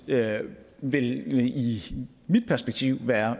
det vil i mit perspektiv være